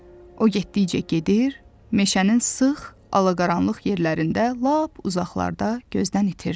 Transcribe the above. O getdikcə gedir, meşənin sıx alaqaranlıq yerlərində lap uzaqlarda gözdən itirdi.